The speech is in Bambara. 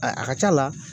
A a ka c'a la